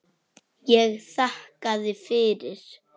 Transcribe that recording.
Ég þakkaði fyrir.